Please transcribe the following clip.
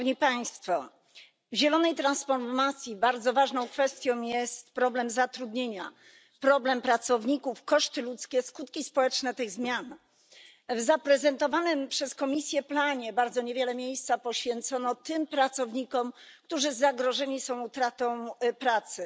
W zielonej transformacji bardzo ważną kwestią jest problem zatrudnienia, problem pracowników, koszty ludzkie, skutki społeczne tych zmian. W zaprezentowanym przez Komisję planie bardzo niewiele miejsca poświęcono tym pracownikom, którzy zagrożeni są utratą pracy.